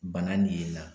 Bana nin ye la